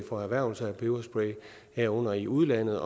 og erhvervelse af peberspray herunder i udlandet